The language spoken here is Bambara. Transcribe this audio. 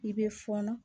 I bɛ fɔɔnɔ